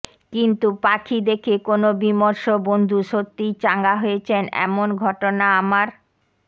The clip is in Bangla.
কিন্তু পাখি দেখে কোনো বিমর্ষ বন্ধু সত্যিই চাঙা হয়েছেন এমন ঘটনা আমার